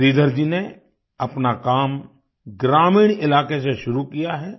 श्रीधर जी ने अपना काम ग्रामीण इलाके से शुरू किया है